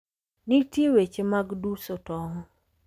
Nitie weche mag duso tong'.